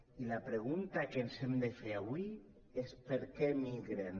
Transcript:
i la pregunta que ens hem de fer avui és per què emigren